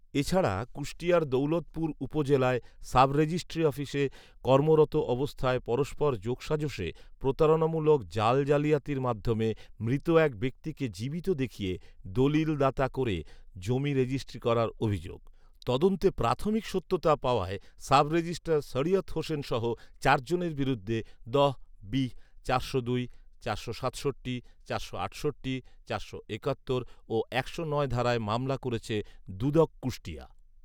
এছাড়া কুষ্টিয়ার দৌলতপুর উপজেলায় সাব রেজিষ্ট্রী অফিসে কর্মরত অবস্থায় পরস্পর যোগসাজসে প্রতারণামূলক জাল জালিয়াতির মাধ্যমে মৃত এক ব্যক্তিকে জীবিত দেখিয়ে দলিল দাতা করে জমি রেজিষ্ট্রি করার অভিযোগ। তদন্তে প্রাথমিক সত্যতা পাওয়ায় সাব রেজিষ্ট্রার শরিয়ত হোসেনসহ চার জনের বিরুদ্ধে দ বি চারশো দুই চারশো সাতষট্টি চারশো আটষট্টি চারশো একাত্তর ও একশো নয় ধারায় মামলা করেছে দুদক কুষ্টিয়া